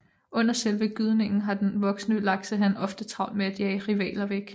Under selve gydningen har den voksne laksehan ofte travlt med at jage rivaler væk